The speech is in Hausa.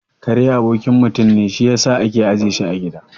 Kare abokin mutum ne, shi yasa ake ajiye su a gida